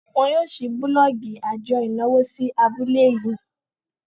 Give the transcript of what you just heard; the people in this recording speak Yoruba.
wón yóò ṣii bulọọgi ajo ìnáwó sí abule yii